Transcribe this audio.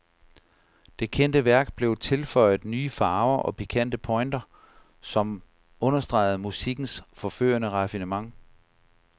Det kendte værk blev tilføjet nye farver og pikante pointer, som understregede musikkens forførende raffinement.